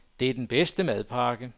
Det er den bedste madpakke.